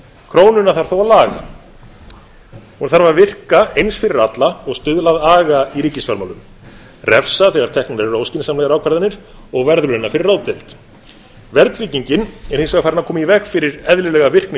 krónuna þarf þó að laga hún þarf að virka eins fyrir alla og stuðla að aga í ríkisfjármálum refsa þegar teknar eru óskynsamlegar ákvarðanir og verðlauna fyrir ráðdeild verðtryggingin er hins vegar farin að koma í veg fyrir eðlilega virkni